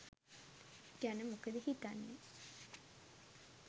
ගැන මොකද හිතන්නේ.